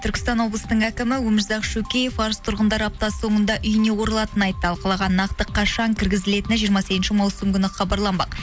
түркістан облыстың әкімі өмірзақ шөкеев арыс тұрғындары апта соңында үйіне оралатынын айтты ал қалаға нақты қашан кіргізілетіні жиырма сегізінші маусым күні хабарланбақ